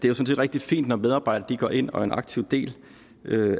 er rigtig fint når medarbejdere går ind og er en aktiv del